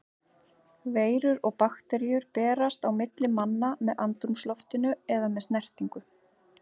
Veirur og bakteríur berast á milli manna með andrúmsloftinu eða með snertingu.